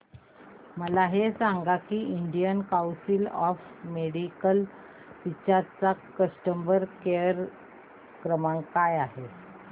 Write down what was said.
मला हे सांग की Indian council of medical research चा कस्टमर केअर क्रमांक काय आहे